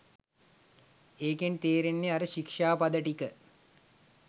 ඒකෙන් තේරෙන්නේ අර ශික්ෂාපද ටික